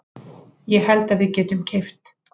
Ég held að við getum keypt.